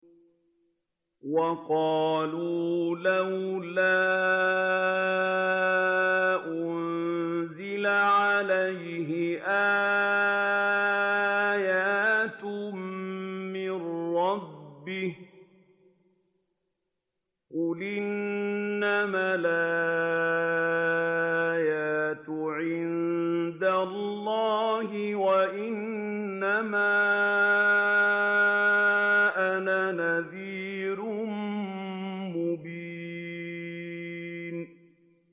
وَقَالُوا لَوْلَا أُنزِلَ عَلَيْهِ آيَاتٌ مِّن رَّبِّهِ ۖ قُلْ إِنَّمَا الْآيَاتُ عِندَ اللَّهِ وَإِنَّمَا أَنَا نَذِيرٌ مُّبِينٌ